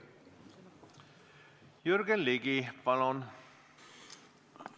Jürgen Ligi, palun!